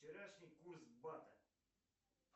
вчерашний курс бата